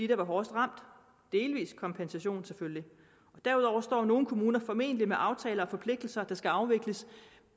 der var hårdest ramt delvis kompensation selvfølgelig og derudover står nogle kommuner formentlig med aftaler og forpligtelser der skal afvikles